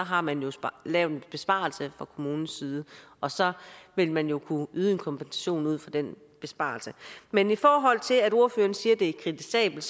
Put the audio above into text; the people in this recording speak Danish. har man lavet en besparelse fra kommunens side og så vil man jo kunne yde en kompensation ud fra den besparelse men i forhold til at ordføreren siger at det er kritisabelt